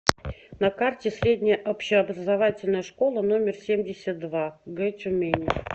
на карте средняя общеобразовательная школа номер семьдесят два г тюмени